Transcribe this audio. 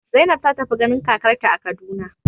Zainab ta tafi ganin kakarta a Kaduna.